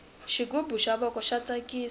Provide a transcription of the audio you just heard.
xighubu xa voko xa tsakisa